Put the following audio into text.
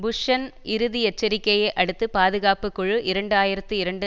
புஷ்ஷன் இறுதி எச்சரிக்கையை அடுத்து பாதுகாப்பு குழு இரண்டு ஆயிரத்தி இரண்டு